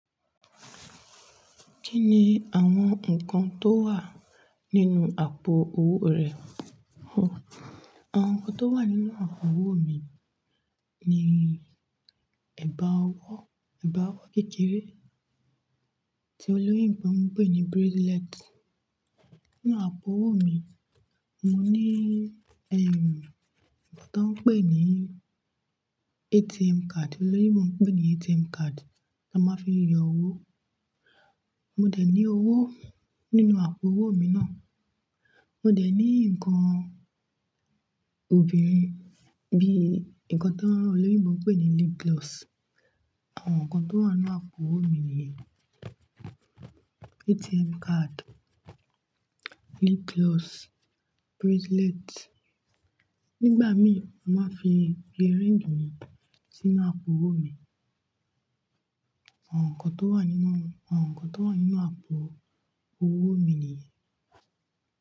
Kí ni àwọn nǹkan tó wà nínú àpò owó rẹ? Àwọn nǹkan tó wà nínú àpò owó mi ni ẹ̀bá ọwọ́, ẹ̀bá ọwọ́ kékeré tí olóyinbo wọn ń pè ní bracelet. Nínú àpò owó mi, mo ní ẹ́ń, nǹkan tí wọ́n ń pè ní ATM card, olóyinbo ń pè ní ATM card tí a máa ń fi yọ owó. Mo dẹ̀ ní owó nínú àpò owó mi náà. Mo dẹ̀ ní nǹkan obìnrin bí i nǹkan tí àwọn olóyinbo ń pè ní lip gloss. Àwọn nǹkan tó wà nínú àpò owó mi ni ATM card, lip gloss, bracelet. Nígbà mí, mo máa ń fi earring mi sínú àpò owó mi. Àwọn nǹkan tó wà nínú, àwọn nǹkan tó wà nínú àpò owó mi nìyẹn.